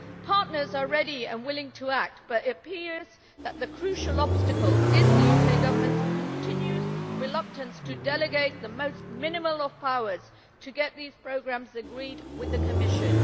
Partners are ready and willing to act, but it appears that the crucial obstacle is the UK Government's continued reluctance to delegate the most minimal of powers to get these programmes agreed with the Commission.